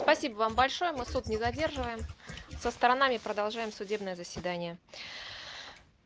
спасибо вам большое мы суд не задерживаем со сторонами продолжаем судебное заседание